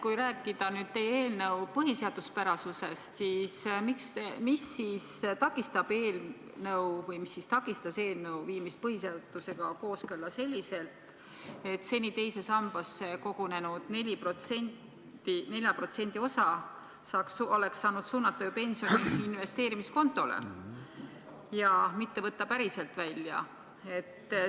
Kui rääkida teie eelnõu põhiseaduspärasusest, siis mis takistas eelnõu viimist põhiseadusega kooskõlla selliselt, et seni teise sambasse kogunenud 4% osa oleks suunatud pensioni investeerimiskontole, mitte ei lubataks päriselt välja võtta?